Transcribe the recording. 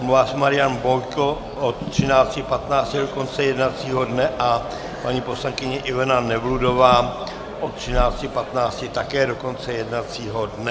Omlouvá se Marian Bojko od 13.15 do konce jednacího dne a paní poslankyně Ivana Nevludová od 13.15 také do konce jednacího dne.